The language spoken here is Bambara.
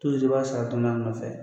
i b'a sara dɔɔni a nɔfɛ.